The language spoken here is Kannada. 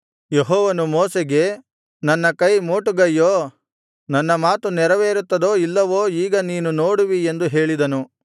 ಯೆಹೋವನು ಮೋಶೆಗೆ ನನ್ನ ಕೈ ಮೋಟುಗೈಯೋ ನನ್ನ ಮಾತು ನೆರವೇರುತ್ತದೋ ಇಲ್ಲವೋ ಈಗ ನೀನು ನೋಡುವಿ ಎಂದು ಹೇಳಿದನು